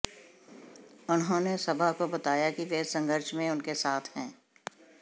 उन्होंने सभा को बताया कि वह संघर्ष में उनके साथ हैं